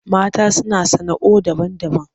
Mata suna sana'oi daban-daban.